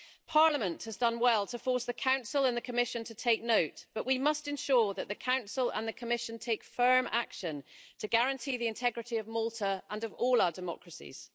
Parliament has done well to force the Council and the Commission to take note, but we must ensure that the Council and the Commission take firm action to guarantee the integrity of Malta and of all our democracies.